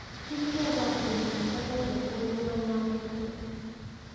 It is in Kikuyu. Ti kuuga atĩ mũtibataire kũnguua na ũritũ.